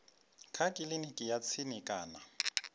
kha kiliniki ya tsini kana